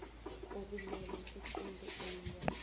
okumele siqunte iminyaka